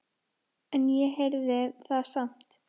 En ég heyrði það samt.